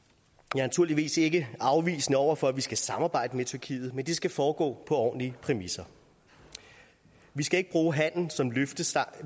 naturligvis ikke afvisende over for at vi skal samarbejde med tyrkiet men det skal foregå på ordentlige præmisser vi skal bruge handelen som løftestang